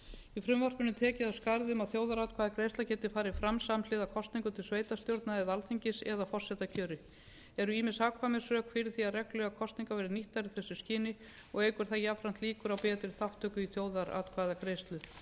í frumvarpinu er tekið af skarið um að þjóðaratkvæðagreiðsla geti farið fram samhliða kosningum til sveitarstjórna eða alþingis eða forsetakjöri eru ýmis hagkvæmnisrök fyrir því að reglulegar kosningar verði nýttar í þessu skyni og eykur það jafnframt líkur á betri þátttöku í þjóðaratkvæðagreiðslu